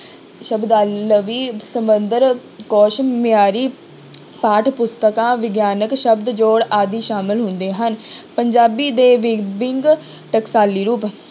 ਸ਼ਬਦਾਵਲੀ ਕੋਸ਼ ਮਿਆਰੀ ਪਾਠ ਪੁਸਤਕਾਂ ਵਿਗਿਆਨਕ ਸ਼ਬਦ ਜੋੜ ਆਦਿ ਸਾਮਲ ਹੁੰਦੇ ਹਨ ਪੰਜਾਬੀ ਦੇ ਵਿ~ ਵਿੰਗ ਟਕਸਾਲੀ ਰੂਪ